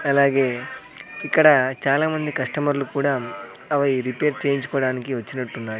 అలాగే ఇక్కడ చాలా మంది కస్టమర్లు కూడా అవి రిపేర్ చేయించుకోడానికి వచ్చినట్టున్నారు.